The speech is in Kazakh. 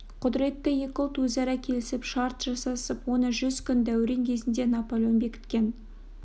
құдіретті екі ұлт өзара келісіп шарт жасасып оны жүз күн дәурен кезінде наполеон бекіткен